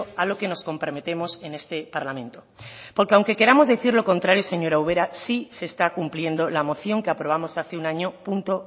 a lo que nos comprometemos en este parlamento porque aunque que queramos decir lo contrario señora ubera sí se está cumpliendo la moción que aprobamos hace un año punto